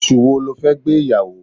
Oṣù wo le fẹ́ gbé ìyàwó?